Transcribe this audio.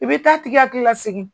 I bi taa a tigi hakili la sigi.